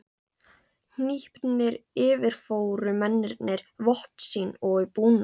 Hnípnir yfirfóru mennirnir vopn sín og búnað.